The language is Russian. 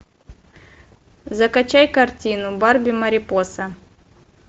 закачай картину барби марипоса